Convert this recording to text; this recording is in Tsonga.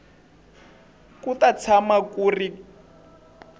ku ta tshama ku ri